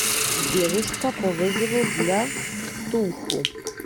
девушка по вызову для ктулху